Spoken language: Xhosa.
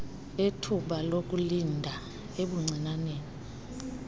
ethuba lokulinda ebuncinaneni